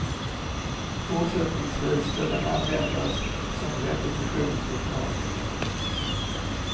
Fortsättningsvis ska den användas som repetitionslokal.